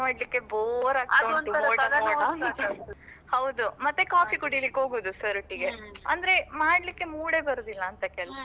ಆಗ್ತಾ ಉಂಟು ಹೌದು ಮತ್ತೆ coffee ಕುಡಿಲಿಕ್ಕೆ ಹೋಗುದು sir ಒಟ್ಟಿಗೆ ಅಂದ್ರೆ ಮಾಡ್ಲಿಕ್ಕೆ mood ಯೇ ಬರುದಿಲ್ಲ ಅಂತ ಕೆಲ್ಸ.